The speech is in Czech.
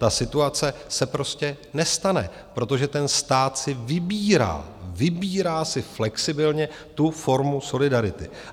Ta situace se prostě nestane, protože ten stát si vybírá, vybírá si flexibilně tu formu solidarity.